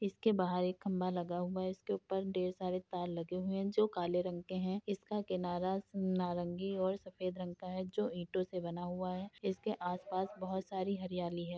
इसके बाहर एक खंभा लगा हुआ है। इसके ऊपर ढेर सारे तार लगे हैं जो काले रंग के हैं। इसका किनारा नारंगी और सफेद रंग का है जो ईटों से बना हुआ है। इसके आसपास बहुत सारी हरियाली है।